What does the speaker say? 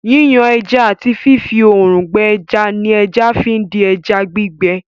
Yíyan ẹja àti fífí òòrùn gbẹ ẹja ni ẹja fi di ẹja gbígbẹ.